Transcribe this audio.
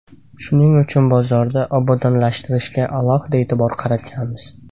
Shuning uchun bozorda obodonlashtirishga alohida e’tibor qaratganmiz.